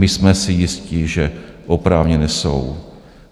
My jsme si jisti, že oprávněné jsou.